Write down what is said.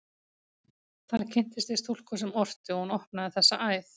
Þar kynntist ég stúlku sem orti, og hún opnaði þessa æð.